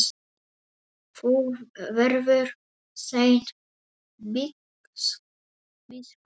Þú verður seint biskup!